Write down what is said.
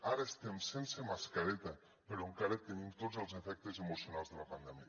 ara estem sense mascareta però encara tenim tots els efectes emocionals de la pandèmia